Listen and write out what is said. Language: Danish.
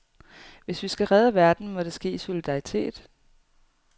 Hvis vi skal redde verden, må det ske i solidaritet.